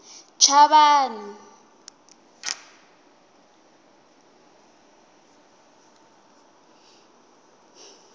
chavani